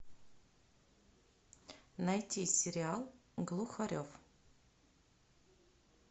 найти сериал глухарев